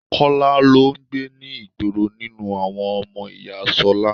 Kọ́lá lọ ń gbé ní ìgboro nínú àwọn ọmọ ìyá Ṣọlá.